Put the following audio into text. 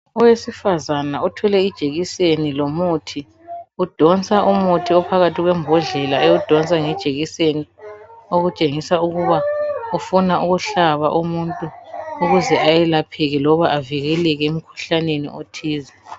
Owesifazana othwele ijekiseni lomuthi udonsa umuthi ophakathi kwebhodlela ewudonsa ngejekiseni okutshengisa ukuba ufuna ukuhlaba umuntu ukuze ayelapheke loba avikeleke emkhuhlaneni othize.